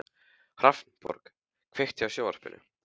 Hrafnborg, kveiktu á sjónvarpinu.